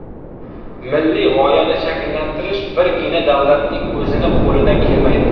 Milliy g‘oyani shakllantirish birgina davlatning o‘zini qo‘lidan kelmaydi.